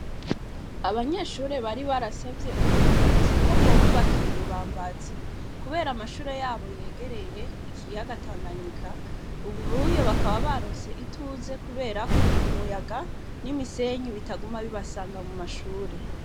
Abanyeshure bari barasavye uburongozi ko bwobubakira ibibambazi, kubera amashure yabo yegereye ikiyagatanganyika, ubu byo bakaba baruse ituze kuberako umuyaga n'imisenyu bitaguma bibasanga mu mashure.